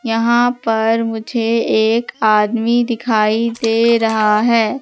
यहां पर मुझे एक आदमी दिखाई दे रहा है।